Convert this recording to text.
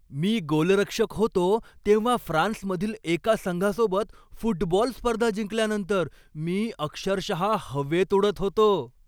मी गोलरक्षक होतो तेव्हा फ्रान्समधील एका संघासोबत फुटबॉल स्पर्धा जिंकल्यानंतर मी अक्षरशः हवेत उडत होतो.